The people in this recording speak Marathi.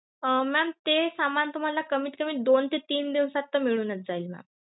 अं ma'am ते सामान तुम्हाला कमीत कमी दोन ते तीन दिवसात मिळूनच जाईल ma'am.